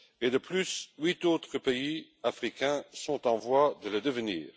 De plus, huit autres pays africains sont en voie de le devenir.